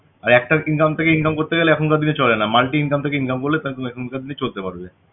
আর একটা income থেকে income করতে গেলে এখানকার দিনে চলে না multi-income থেকে income করলে তাহলে তুমি এখনকার দিনে চলতে পারবে